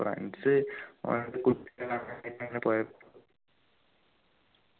friends പോയപ്പോ